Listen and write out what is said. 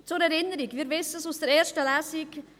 Zur Erinnerung, wir wissen es aus der ersten Lesung: